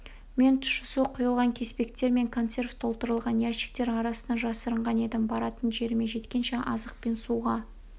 мен тұщы су құйылған кеспектер мен консерв толтырылған ящиктер арасына жасырынған едім баратын жеріме жеткенше азық пен суға